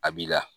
A b'i la